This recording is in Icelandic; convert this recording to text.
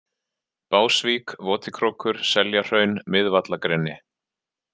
Básvík, Votikrókur, Seljahraun, Miðvallagreni